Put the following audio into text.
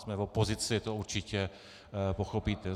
Jsme v opozici, to určitě pochopíte.